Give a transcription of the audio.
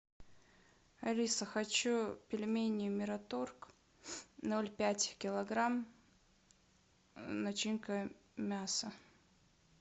алиса хочу пельмени мираторг ноль пять килограмм начинка мясо